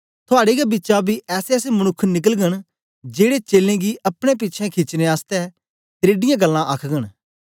थुआड़े गै बिचा बी ऐसेऐसे मनुक्ख निकलगन जेड़े चेलें गी अपने पिछें खीचने आसतै तरेडीयां गल्लां आखघन